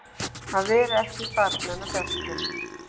Að vera ekki barnanna bestur